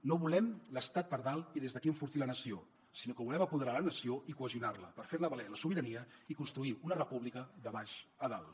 no volem l’estat per dalt i des d’aquí enfortir la nació sinó que volem apoderar la nació i cohesionar la per fer ne valer la sobirania i construir una república de baix a dalt